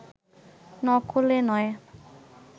নকল-এ নয়